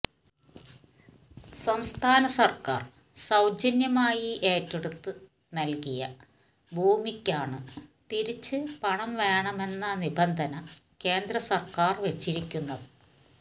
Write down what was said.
സംസ്ഥാന സർക്കാർ സൌജന്യമായി ഏറ്റെടുത്ത് നൽകിയ ഭൂമിക്കാണ് തിരിച്ച് പണം വേണമെന്ന നിബന്ധന കേന്ദ്ര സർക്കാർ വെച്ചിരിക്കുന്നത്